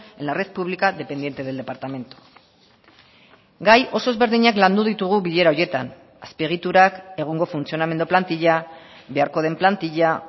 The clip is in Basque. en la red pública dependiente del departamento gai oso ezberdinak landu ditugu bilera horietan azpiegiturak egungo funtzionamendu plantila beharko den plantila